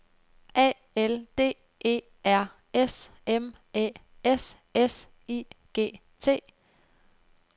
A L D E R S M Æ S S I G T